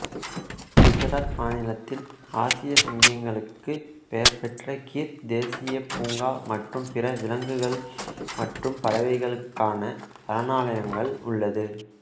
குசராத் மாநிலத்தில் ஆசிய சிங்கங்களுக்கு பெயர்பெற்ற கிர் தேசியப் பூங்கா மற்றும் பிற விலங்குகள் மற்றும் பறவைகளுக்கான சரணாலயங்கள் உள்ளது